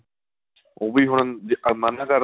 ਉਹ ਵੀ ਹੁਣ ਜੇ ਮਨਾ ਕਰ ਦਿੰਦੇ ਏ